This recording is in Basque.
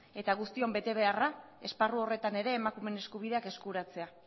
eta guztion betebeharra esparru horretan ere emakumeen eskubideak eskuratzea